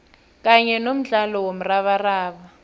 kanye nomdlalo womrabaraba